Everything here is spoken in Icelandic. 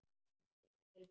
Komdu hingað til mín.